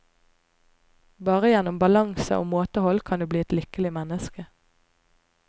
Bare gjennom balanse og måtehold kan du bli et lykkelig menneske.